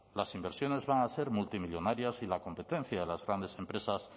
las inversiones van a ser multimillónarias y la competencia de las grandes empresas